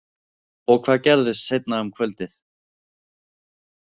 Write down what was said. Og hvað gerðist seinna um kvöldið?